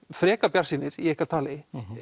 frekar bjartsýnir í ykkar tali en